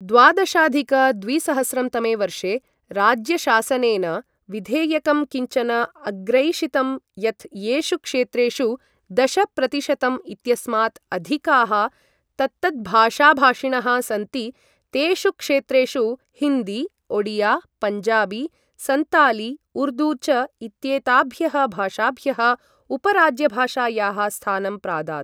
द्वादशाधिक द्विसहस्रं तमे वर्षे राज्यशासनेन विधेयकं किञ्चन अग्रैषितं यत् येषु क्षेत्रेषु दश प्रतिशतम् इत्यस्मात् अधिकाः तत्तद्भाषाभाषिणः सन्ति तेषु क्षेत्रेषु हिन्दी, ओडिया, पञ्जाबी, संताली, उर्दू च इत्येताभ्यः भाषाभ्यः उप राजभाषायाः स्थानं प्रादात्।